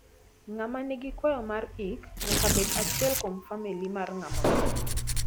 ngama nigi kwayo mar ik nya bed achiel kuom famili mar nga ma otho